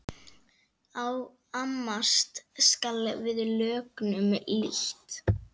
Amast skal við lögnum lítt.